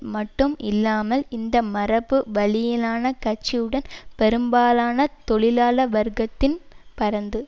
மட்டும் இல்லாமல் இந்த மரபு வழியிலான கட்சியுடன் பெரும்பாலான தொழிலாள வர்க்கத்தின் பரந்து